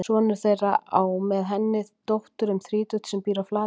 Sonur þeirra á með henni dóttur um þrítugt sem býr á Flateyri.